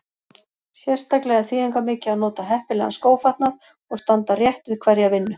Sérstaklega er þýðingarmikið að nota heppilegan skófatnað og standa rétt við hverja vinnu.